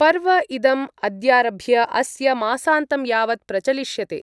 पर्व इदम् अद्यारभ्य अस्य मासान्तं यावत् प्रचलिष्यते।